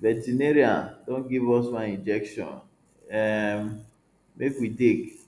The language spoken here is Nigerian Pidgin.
veterinary don give us one injection um make we take